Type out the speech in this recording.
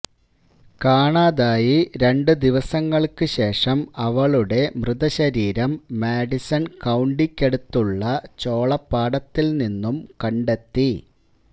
കാണാതായി രണ്ട് ദിവസങ്ങള്ക്കുശേഷം അവളുടെ മൃതശരീരം മാഡിസണ് കൌണ്ടിക്കടുത്തുള്ള ചോളപ്പാടത്തില്നിന്നും കണ്ടെത്തി